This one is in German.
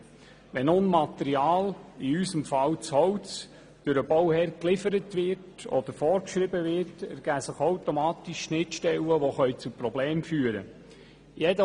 Wenn nun Material – in unserem Fall das Holz – durch den Bauherrn geliefert wird, ergeben sich automatisch Schnittstellen, die zu Problemen führen können.